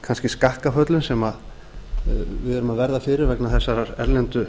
kannski skakkaföllum sem við erum að verða fyrir vegna þessarar erlendu